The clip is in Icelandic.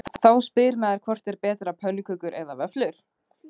Þá spyr maður hvort er betra pönnukökur eða vöfflur?